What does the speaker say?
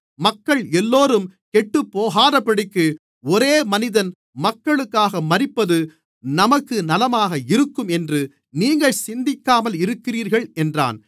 மக்கள் எல்லோரும் கெட்டுப்போகாதபடிக்கு ஒரே மனிதன் மக்களுக்காக மரிப்பது நமக்கு நலமாக இருக்கும் என்று நீங்கள் சிந்திக்காமல் இருக்கிறீர்கள் என்றான்